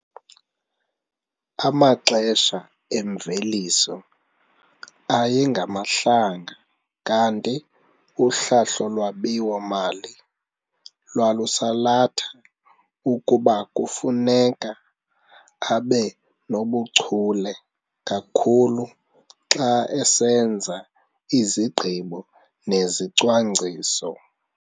Amaxesha emveliso ayengamahlanga kanti uhlahlo lwabiwo-mali lwalusalatha ukuba kufuneka abe nobuchule kakhulu xa esenza izigqibo nezicwangciso.